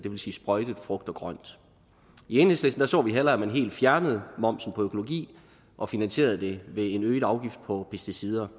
vil sige sprøjtet frugt og grønt i enhedslisten så vil hellere at man helt fjernede momsen på økologi og finansierede det ved en øget afgift på pesticider